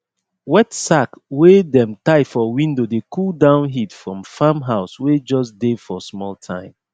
wet sack wey dem tie for window dey cool down heat for farm house wey jus dey for small time